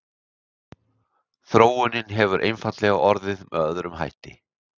Þróunin hefur einfaldlega orðið með öðrum hætti.